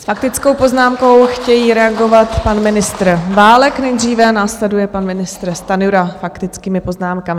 S faktickou poznámkou chtějí reagovat pan ministr Válek nejdříve, následuje pan ministr Stanjura; faktickými poznámkami.